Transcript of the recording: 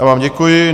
Já vám děkuji.